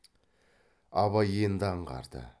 абай енді аңғарды